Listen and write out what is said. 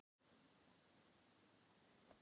Úthlutun úr varasjóði til hluthafa er stundum heimil.